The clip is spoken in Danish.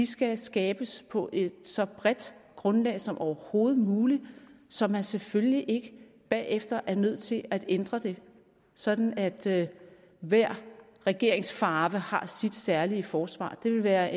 skal skabes på et så bredt grundlag som overhovedet muligt så man selvfølgelig ikke bagefter er nødt til at ændre det sådan at hver regeringsfarve har sit særlige forsvar det ville være